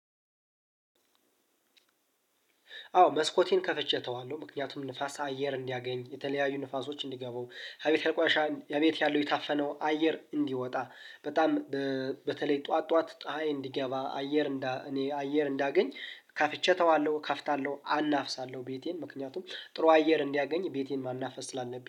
አዎ መስኮቴን ከፈቼ እተወዋለሁ። ምክንያቱም ንፋስ አየር እንዲያገኝ የተለያዩ ንፋሶች እንዲገቡ ሀቤት ቆሻ እቤት ያለው የታፈነው አየር እንዲወጣ በጣም በ በተለይ ጠዋት ጠዋት ጠሃይ እንዲገባ አየር እንዳ እኔ አየር እንዳገኝ ከፍቼ እተዋለሁ ከፍታለሁ አናፍሳለሁ ቤቴን ምክንያቱም ጥሩ አየር እንዲያገኝ ቤቴን ማናፈስ ስላለብኝ